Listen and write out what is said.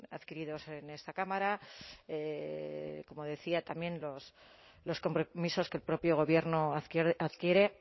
adquiridos en esta cámara como decía también los compromisos que el propio gobierno adquiere